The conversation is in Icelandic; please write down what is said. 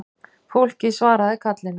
Fólkið svaraði kallinu